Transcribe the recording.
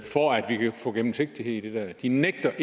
for at vi kan få gennemsigtighed de nægter